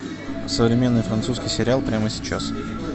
современный французский сериал прямо сейчас